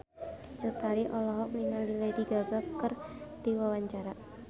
Cut Tari olohok ningali Lady Gaga keur diwawancara